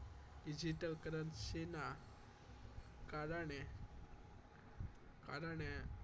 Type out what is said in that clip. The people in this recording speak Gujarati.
Digital currency ના કારણે કારણે